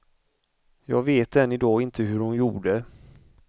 Jag vet än i dag inte hur hon gjorde.